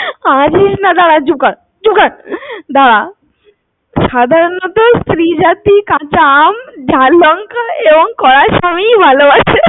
হাসিস না দাড়া, চুপ কর চুপ কর দাঁড়া সাধারণত স্ত্রী জাতী কাঁচা আম, ঝাল লঙ্কা এবং কড়া স্বামী ই ভালোবাসে